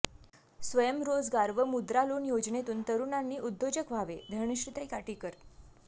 स्वयंरोजगार व मुद्रा लोन योजनेतून तरुणांनी उद्योजक व्हावे धनश्रीताई काटीकर